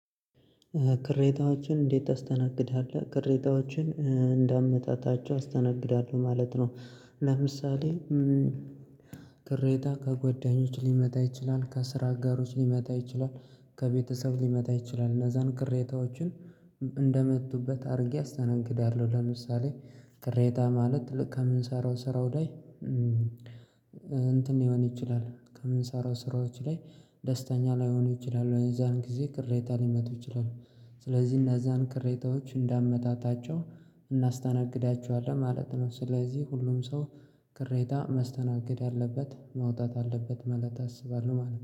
ቅሬታዎችን እንዴት ታስተናግዳለህ ቅሬታዎችን እንደ እንዳመጣጣቸው አስተናግዳለሁ ማለት ነው? ለምሳሌ ቅሬታ ከጓደኞች ሊመጣ ይችላል ከስራ አጋሮች ሊመጣ ይችላል ከቤተሰብ ሊመጣ ይችላል እነዛን ቅሬታዎችን እንደመጡበት አድርጌ አስተናግዳለሁ። ለምሳሌ ቆሬታ ማለት ልክ ከምንሰራው ስራው ላይ እንትን ሊሆን ይችላል ከምንሰራው ስራዎች ላይ ደስተኛ ላይሆኑ ይችላሉ። የዛን ጊዜ ቅሬታ ሊመጡ ይችላሉ ስለዚህ እነዛን ቅሬታዎች እንዳመጣጣቸው እናስተናግዳቸዋለን ማለት ነው። ስለዚህ ሁሉም ሰው ቅሬታ ማስተናገድ አለበት ማውጣት አለበት ማለት አስባለሁ ማለት ነው